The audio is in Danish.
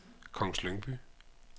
Kongens Lyngby